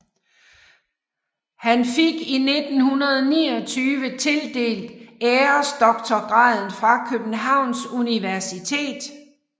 Han fik i 1929 tildelt æresdoktorgraden fra Københavns Universitet